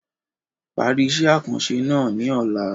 Parí iṣẹ́ àkànṣe náà ní ọ̀la.